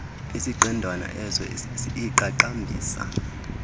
isiqendwana es iqaqambisa